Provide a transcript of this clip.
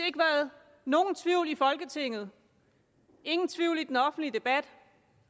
ikke været nogen tvivl i folketinget ingen tvivl i den offentlige debat